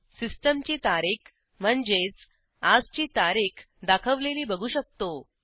सिस्टीमची तारीख म्हणजेच आजची तारीख दाखवलेली बघू शकतो